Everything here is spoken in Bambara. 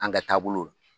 An ka taabolo la